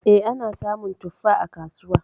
E, ana samun tuffa a kasuwa.